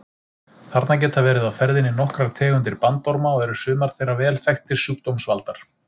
Þarna geta verið á ferðinni nokkrar tegundir bandorma og eru sumar þeirra vel þekktir sjúkdómsvaldar.